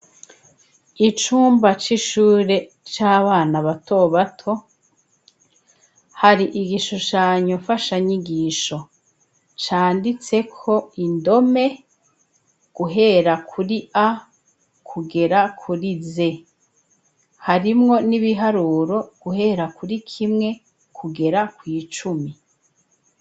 Icumba c'ishure c'abana bato bato, hari igishushanyo mfanshanyigisho canditseko indome guhera kuri A kugera kuri Z, harimwo n'ibiharuro guhera kuri kimwe kugera kw'icumi.